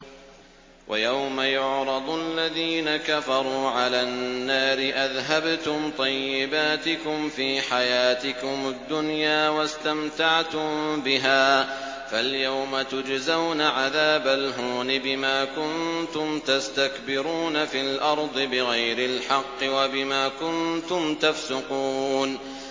وَيَوْمَ يُعْرَضُ الَّذِينَ كَفَرُوا عَلَى النَّارِ أَذْهَبْتُمْ طَيِّبَاتِكُمْ فِي حَيَاتِكُمُ الدُّنْيَا وَاسْتَمْتَعْتُم بِهَا فَالْيَوْمَ تُجْزَوْنَ عَذَابَ الْهُونِ بِمَا كُنتُمْ تَسْتَكْبِرُونَ فِي الْأَرْضِ بِغَيْرِ الْحَقِّ وَبِمَا كُنتُمْ تَفْسُقُونَ